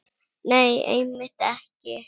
Nei, einmitt ekki.